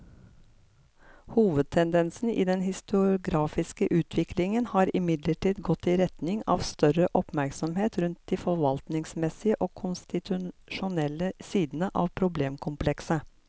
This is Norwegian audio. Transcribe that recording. Hovedtendensen i den historiografiske utviklingen har imidlertid gått i retning av større oppmerksomhet rundt de forvaltningsmessige og konstitusjonelle sidene av problemkomplekset.